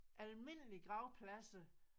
Almindelige gravpladser